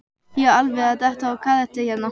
Ég er alveg að detta úr karakter hérna.